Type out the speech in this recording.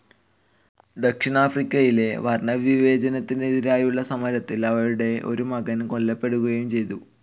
ദക്ഷിണാഫ്രിക്കയിലെ വർണ്ണവിവേചനത്തിനെതിരേയുള്ള സമരത്തിൽ അവരുടെ ഒരു മകൻ കൊല്ലപ്പെടുകയും ചെയ്തു.